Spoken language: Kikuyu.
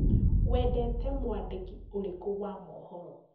Wendete mwandĩki ũrĩkũ wa mohoro?